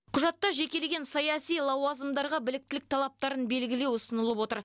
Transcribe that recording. құжатта жекелеген саяси лауазымдарға біліктілік талаптарын белгілеу ұсынылып отыр